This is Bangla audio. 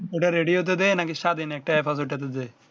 ঐ টা রেডিওতে দেয় না কি স্বাধীন একটা এপ আছে ঐ টাতে দেয়